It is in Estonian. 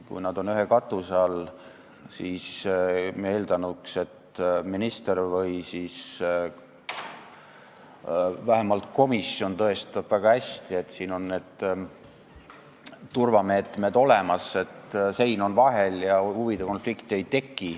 Kui nad on ühe katuse all, siis me oleksime eeldanud, et minister või vähemalt komisjon tõestab väga hästi ära, et on turvameetmed olemas, et sein on vahel ja huvide konflikti ei teki.